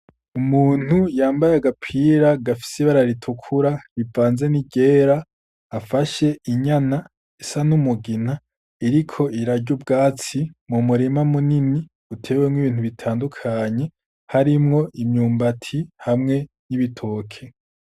Umuntu yambaye agapira gafise ibara ritukura rivanze n’iryera, afashe inyana isa n'umugina iriko irarya ubwatsi mu murima munini utewemwo ibintu bitandukanye harimwo imyumbati hamwe n'ibitoke.